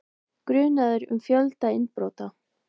Grunaður um fjölda innbrota